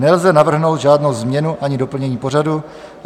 Nelze navrhnout žádnou změnu ani doplnění pořadu.